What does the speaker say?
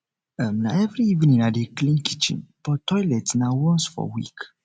um na every evening i dey clean kitchen but toilet na once for week